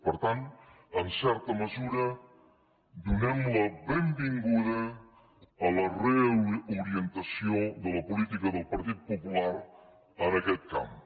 per tant en certa mesura donem la benvinguda a la reorientació de la política del partit popular en aquest camp